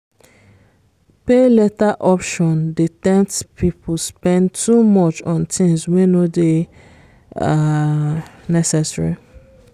pay later option dey tempt people spend too much on things wey no dey um necessary.